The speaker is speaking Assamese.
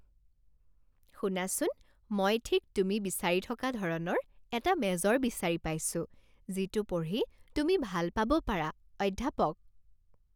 শুনাচোন মই ঠিক তুমি বিচাৰি থকা ধৰণৰ এটা মেজৰ বিচাৰি পাইছোঁ যিটো পঢ়ি তুমি ভাল পাব পাৰা অধ্যাপক